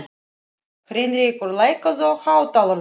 Heinrekur, lækkaðu í hátalaranum.